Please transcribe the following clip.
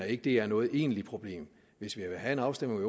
ikke det er noget egentligt problem hvis vi vil have en afstemning